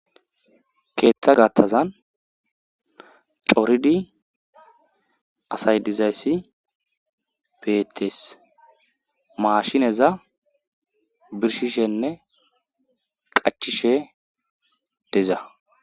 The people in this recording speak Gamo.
Keeththa gattazan coridi asay dizayssi peetees maashineza birshishenne qachishe deza.